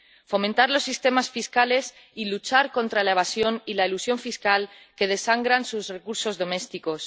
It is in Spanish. fomentar los sistemas fiscales y luchar contra la evasión y la elusión fiscal, que desangran sus recursos domésticos.